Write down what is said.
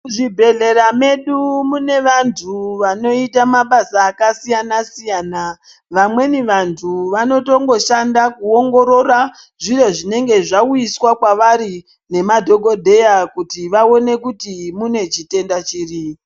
Muzvibhehleya medu mune vantu vanoita mabasa akasiyana siyana .Vamwemi vantu vanotongoshanda kuongorora zviro zvinenge zvauiswa kwavari ngemadokodheya kuti vaone kuti mune chitenda chiri